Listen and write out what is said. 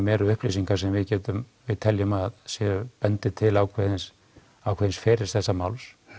eru upplýsingar sem við teljum að bendi til ákveðins ákveðins ferils þessa máls